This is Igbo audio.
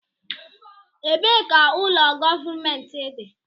Ebee ka ụlọ gọọmentị dị?